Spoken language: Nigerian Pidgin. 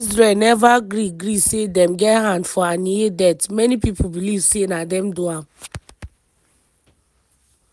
while israel neva gree gree say dem get hand for haniyeh death many pipo believe say na dem do am.